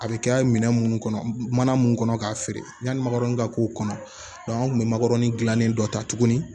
A bɛ kɛ minɛn minnu kɔnɔ mana mun kɔnɔ k'a feere yanni magɔrɔni ka k'o kɔnɔ an kun bɛ makodɔnni dilannen dɔ ta tuguni